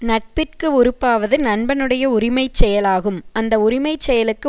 நட்பிற்க்கு உறுப்பாவது நண்பனுடைய உரிமை செயலாகும் அந்த உரிமை செயலுக்கு